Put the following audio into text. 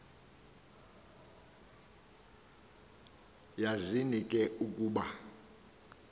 yazini ke ukuba